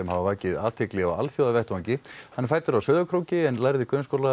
hafa vakið athygli á alþjóðavettvangi hann er fæddur á Sauðárkróki en lærði